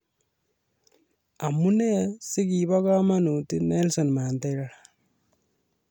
Amunee si kibo kamanut Nelson Mandela ?